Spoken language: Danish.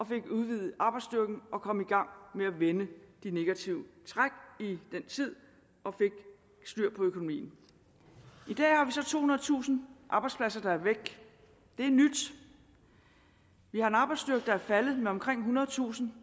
fik udvidet arbejdsstyrken og kom i gang med at vende de negative træk i den tid og fik styr på økonomien i så tohundredetusind arbejdspladser der er væk det er nyt vi har en arbejdsstyrke der er faldet med omkring ethundredetusind